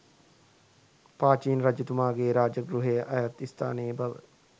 පාචීන රජතුමාගේ රාජගෘහය අයත් ස්ථානයේ බව